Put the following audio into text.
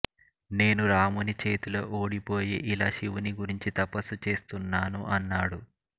నేను రాముని చేతిలో ఓడిపోయి ఇలా శివుని గురించి తపస్సు చేస్తున్నాను అన్నాడు